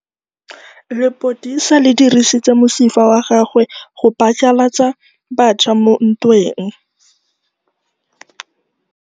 Lepodisa le dirisitse mosifa wa gagwe go phatlalatsa batšha mo ntweng.